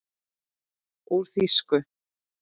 Úr þýsku